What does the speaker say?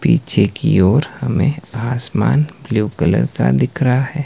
पीछे की ओर हमें आसमान ब्लू कलर का दिख रहा है।